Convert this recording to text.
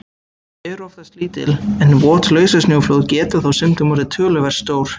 Þau eru oftast lítil, en vot lausasnjóflóð geta þó stundum orðið töluvert stór.